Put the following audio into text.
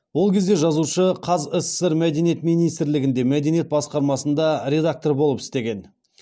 ол кезде жазушы қазсср мәдениет министрлігінде мәдениет басқармасында редактор болып істеген